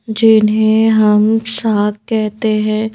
जिन्हें हम साग कहते हैं।